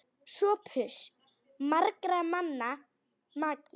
SOPHUS: Margra manna maki!